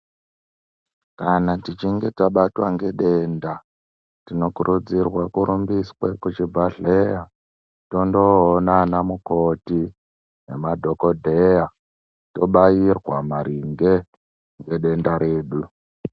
Kana techinge tabatwa ngedenda tinokurudzirwe kurumbiswe kuchibhedhleya tondoona anamukoti nemadhokdheya tobairwa maringe ngedenda redu.